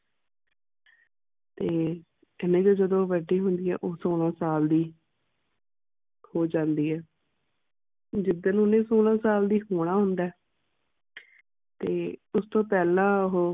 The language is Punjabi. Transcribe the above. ਤੇ ਉਹ ਜਿਨੀ ਵੱਡੀ ਹੁੰਦੀ ਹੈ ਉਹ ਸੋਲਾਂ ਸਾਲ ਦੀ ਹੋ ਜਾਂਦੀ ਹੈ ਜਿਸ ਦਿਨ ਉਨੇ ਸੋਲਾਂ ਦਾ ਹੋਣਾ ਹੁੰਦਾ ਹੈ ਤੇ ਉਸ ਤੋਂ ਪਹਿਲਾ ਉਹ